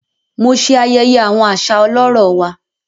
Mo ṣe ayẹyẹ awọn aṣa ọlọrọ wà.